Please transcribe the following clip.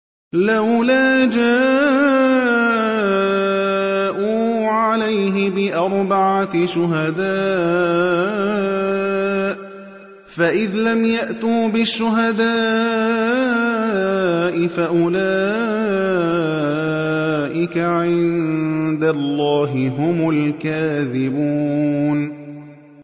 لَّوْلَا جَاءُوا عَلَيْهِ بِأَرْبَعَةِ شُهَدَاءَ ۚ فَإِذْ لَمْ يَأْتُوا بِالشُّهَدَاءِ فَأُولَٰئِكَ عِندَ اللَّهِ هُمُ الْكَاذِبُونَ